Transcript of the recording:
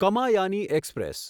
Kamayani express